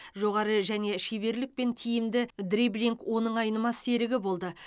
жоғары жеке шеберлік пен тиімді дриблинг оның айнымас серігі болды